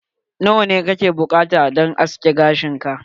Nawa ne kake buƙata don askin gashin ka?